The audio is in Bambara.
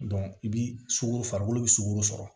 i bi sukoro farikolo bi sugoro sɔrɔ